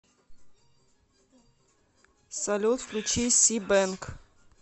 салют включи си бэнк